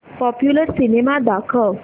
popular cinema दाखव